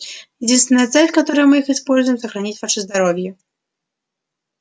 единственная цель с которой мы их используем сохранить ваше здоровье